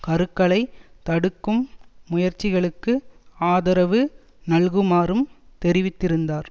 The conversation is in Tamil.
கருக்களைத் தடுக்கும் முயற்சிகளுக்கு ஆதரவு நல்குமாறும் தெரிவித்திருந்தார்